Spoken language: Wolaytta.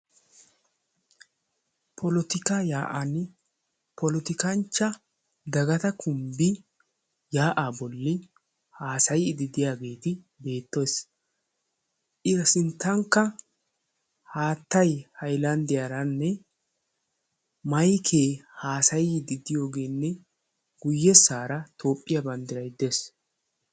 Polotikaa yaa'an Polotikanchcha Dagata Kumbbi Yaa'aa bolli Haasayiiddi diyageeti beettees. A sinttankka Haattay haylanddiyaaranne maykee haasayiiddi diyogeenne guyyesaara toophphiya banddiray dees.